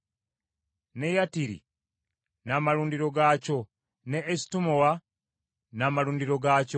ne Yattiri n’amalundiro gaakyo ne Esutemoa n’amalundiro gaakyo,